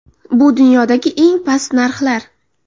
Bu dunyodagi eng past narxlar.